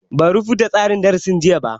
Ban rubuta tsarin darasin jiya ba